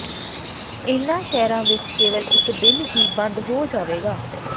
ਇਨ੍ਹਾਂ ਸ਼ਹਿਰਾਂ ਵਿਚ ਕੇਵਲ ਇਕ ਦਿਨ ਹੀ ਬੰਦ ਹੋ ਜਾਵੇਗਾ